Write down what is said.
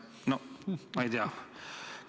No ma ei tea.